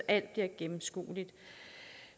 alt bliver gennemskueligt